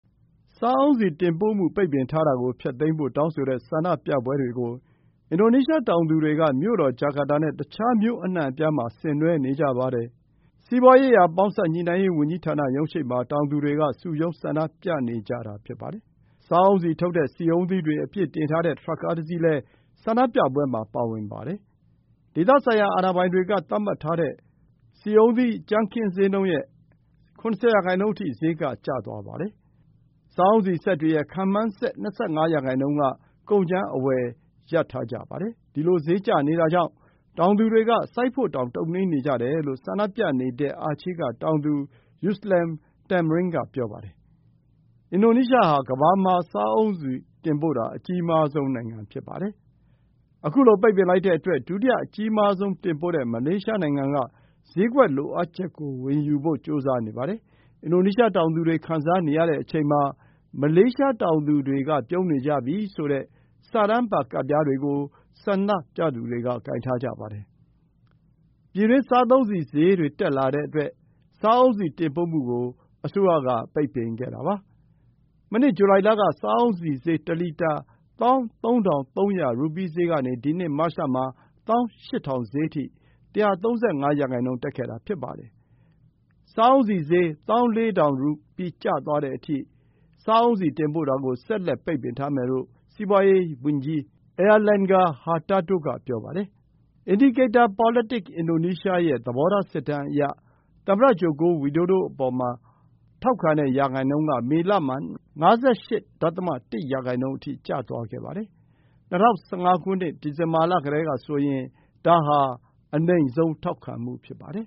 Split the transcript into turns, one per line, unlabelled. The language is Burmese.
စားအုန်းဆီတင်ပို့မှု ပိတ်ပင်ထားတာကို ဖျက်သိမ်းဖို့တောင်းဆိုတဲ့ ဆန္ဒပြပွဲတွေကို အင်ဒိုနီးရှားတောင်သူတွေက မြို့တော်ဂျာကာတာနဲ့ တခြား မြို့အနှံ့အပြားမှာ ဆင်နွှဲနေကြပါတယ်။ စီးပွါးရေးရာပေါင်းစပ်ညှိနှိုင်းရေး ဝန်ကြီးဌာနရုံးရှေ့မှာ တောင်သူတွေက စုရုံး ဆန္ဒပြနေကြတာဖြစ်ပါတယ်။ စားအုန်းဆီထုတ်တဲ့ ဆီအုန်းသီးတွေ အပြည့်တင်ထားတဲ့ ထရပ်ကားတစီးလည်း ဆန္ဒပြပွဲမှာပါဝင်ပါတယ်။ ဒေသဆိုင်ရာ အာဏာပိုင်တွေက သတ်မှတ်ထားတဲ့ ဆီအုန်းသီးဈေးနှုန်း ရဲ့ ၇၀ ရာနှုန်းအထိ ဈေးက ကျသွားပါတယ်။ စားအုန်းဆီစက်တွေရဲ့ ခန့်မှန်းစက် ၂၅ ရာနှုန်းက ကုန်ကြမ်း အဝယ်ရပ်လိုက်ကြပါတယ်။ စဒီလို ဈေးကျနေတာနဲ့ တောင်သူတွေက စိုက်ဖို့တောင် တုံ့နှေးနေကြတယ်လို့ ဆန္ဒပြနေတဲ့ အာချေးဒေသက တောင်သူ Yuslan Thamrin က ပြောပါတယ်။ အင်ဒိုနီးရှားဟာ ကမ္ဘာမှာ စားအုန်းဆီတင်ပို့တာ အကြီးမားဆုံးနိုင်ငံ ဖြစ်ပါတယ်။ ခုလို ပိတ်ပင်လိုက်တဲ့အတွက် ဒုတိယအကြီးမားဆုံးတင်ပို့တဲ့ မလေးရှားနိုင်ငံက ဈေးကွက်လိုအပ်ချက်ကို ဝင်ယူဖို့ ကြိုးစားနေပါတယ်။ အင်ဒိုနီးရှား တောင်သူတွေ ခံစားနေရတဲ့အချိန်မှာ မလေးရှားတောင်သူတွေ ပြုံးနေကြပြီ ဆိုတဲ့ စာတမ်းပါ ကဒ်ပြားတွေကို ဆန္ဒပြသူတွေက ကိုင်ထားကြပါတယ်။ ပြည်တွင်း စားသုံးဆီဈေးတွေတက်လာခဲ့တဲ့အတွက် စားအုန်းဆီတင်ပို့မှုကို အစိုးရက ပိတ်ပင်ခဲ့တာပါ။ မနှစ် ဇူလိုင်လက စားအုန်းဆီဈေး တလီတာ ၁၃,၃၀၀ ရူပီး ဈေးကနေ ဒီနှစ် မတ်လမှာ ၁၈,၀၀၀ ဈေးအထိ ၁၃၅ ရာနှုန်း တက်ခဲ့တာ ဖြစ်ပါတယ်။ စားအုန်းဆီ ဈေး ၁၄,၀၀၀ ရူပီး ကျသွားတဲ့အထိ စားအုန်းဆီတင်ပို့တာကို ဆက်လက် ပိတ်ပင်ထားမယ်လို့ စီးပွါးရေးရာဝန်ကြီး Airlangga Hartarto က ပြောပါတယ်။ Indikator PolitikIndonesia ရဲ့ သဘောထား စစ်တမ်းအရ သမ္မတ Joko Widodo အပေါ် မေလမှာ ထောက်ခံတဲ့ ရာနှုန်း က ၅၈.၁ ရာနှုန်း အထိ ကျသွားပါတယ်။ ၂၀၁၅ ဒီဇင်ဘာလကတည်းက ဆိုရင် အနိမ့်ဆုံး ထောက်ခံမှု ဖြစ်ပါတယ်